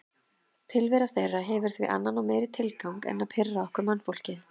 Tilvera þeirra hefur því annan og meiri tilgang en að pirra okkur mannfólkið.